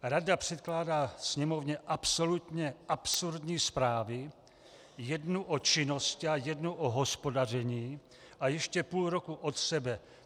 Rada předkládá Sněmovně absolutně absurdní zprávy, jednu o činnosti a jednu o hospodaření, a ještě půl roku od sebe.